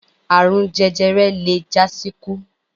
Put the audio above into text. Àrun jẹjẹrẹ le jásíkú.